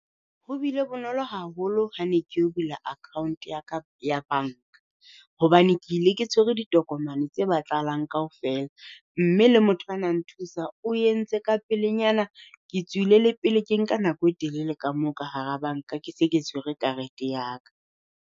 Ho bile bonolo haholo ha ne ke yo bula account ya ka ya banka, hobane ke ile ke tshwere ditokomane tse batlahalang kaofela. Mme le motho a na nthusa o entse ka pelenyana ke tswile le pele ke nka nako e telele ka moo ka hara banka. Ke se ke tshwere karete ya ka.